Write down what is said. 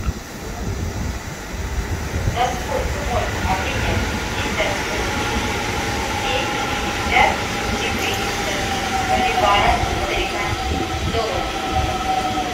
за сколько можно обменять пятьдесят восемь двести пятьдесят четыреста боливара в американских долларах